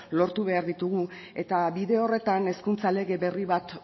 lortu behar ditugu eta bide horretan hezkuntza lege berri bat